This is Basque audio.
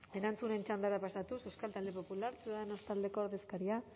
erantzunen txandara pasatuz euskal talde popular ciudadanos taldeko ordezkaria